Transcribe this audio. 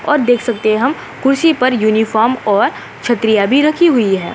और देख सकते हैं हम कुर्सी पर यूनिफार्म और छतरियां भी रखी हुई हैं।